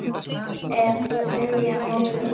Þá er þriðja mótið búið.